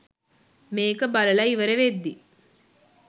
මේක බලලා ඉවර වෙද්දී